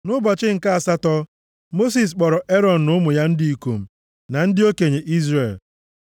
Nʼụbọchị nke asatọ, Mosis kpọrọ Erọn na ụmụ ya ndị ikom, na ndị okenye Izrel.